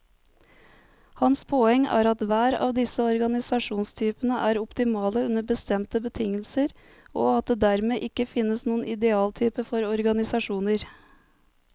Hans poeng er at hver av disse organisasjonstypene er optimale under bestemte betingelser, og at det dermed ikke finnes noen idealtype for organisasjoner.